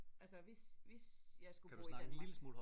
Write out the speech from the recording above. Altså hvis hvis jeg skulle bo i Danmark